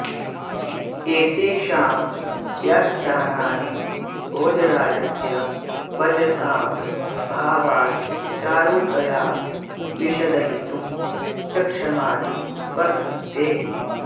एतेषां व्याख्यानानि भोजराजस्य वचसां भावान् चारुतया विशदयितुं सक्षमानि वर्तन्ते